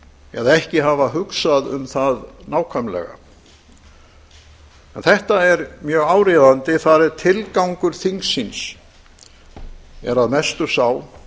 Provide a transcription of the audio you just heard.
eða ekki hafa hugsað um það nákvæmlega en þetta er mjög áríðanda þareð tilgángur þíngsins er að mestu sá